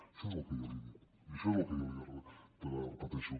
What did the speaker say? això és el que jo li he dit i això és el que jo li repeteixo